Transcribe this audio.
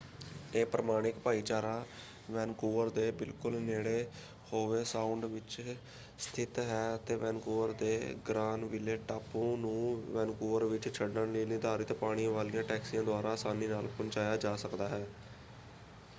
ਇਹ ਪ੍ਰਮਾਣਿਕ ਭਾਈਚਾਰਾ ਵੈਨਕੂਵਰ ਦੇ ਬਿਲਕੁਲ ਨੇੜੇ ਹੋਵੇ ਸਾਉਂਡ ਵਿੱਚ ਸਥਿਤ ਹੈ ਅਤੇ ਵੈਨਕੂਵਰ ਦੇ ਗ੍ਰਾਨਵਿਲੇ ਟਾਪੂ ਨੂੰ ਵੈਨਕੂਵਰ ਵਿੱਚ ਛੱਡਣ ਲਈ ਨਿਰਧਾਰਤ ਪਾਣੀ ਵਾਲੀਆਂ ਟੈਕਸੀਆਂ ਦੁਆਰਾ ਅਸਾਨੀ ਨਾਲ ਪਹੁੰਚਾਇਆ ਜਾ ਸਕਦਾ ਹੈ।